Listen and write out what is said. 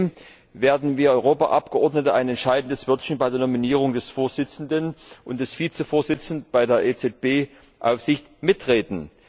Zudem werden wir Europaabgeordnete ein entscheidendes Wörtchen bei der Nominierung des Vorsitzenden und des Vizevorsitzenden bei der EZB Aufsicht mitreden.